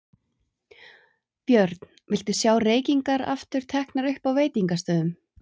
Björn: Viltu sjá reykingar aftur teknar upp á veitingastöðum?